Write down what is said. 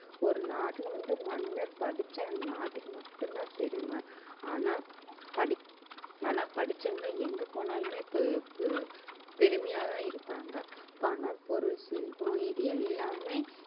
ஒரு நாட்டில வந்து மன்னர் படிச்சா அந்த நாட்டுக்கு மட்டும்தான் பெருமை ஆனா படிக்~ ஆனா படிச்சவங்க எங்க போனாலுமே பெ~ பெ~ பெருமையாதான் இருப்பாங்க பணம் பொருள் செல்வம் இது எல்லாமே